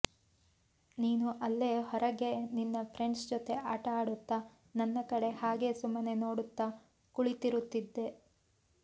ನೀನು ಅಲ್ಲೇ ಹೊರಗೆ ನಿನ್ ಫ್ರೆಂಡ್ಸ್ ಜೊತೆ ಆಟ ಆಡುತ್ತ ನನ್ನ ಕಡೆ ಹಾಗೇ ಸುಮ್ಮನೆ ನೋಡುತ್ತಾ ಕುಳಿತಿರುತ್ತಿದ್ದೆ